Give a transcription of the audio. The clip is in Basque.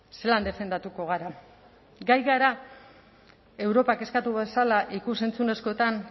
zelan defendatuko gara gai gara europak eskatu bezala ikus entzunezkoetan